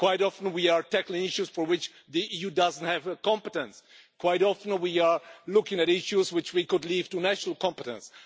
Quite often we are tackling issues for which the EU does not have competence. Quite often we are looking at issues which we could leave to national competence.